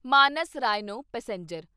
Manas rhino passenger